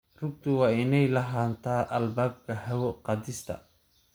Rugtu waa inay lahaataa albaabka hawo-qaadista.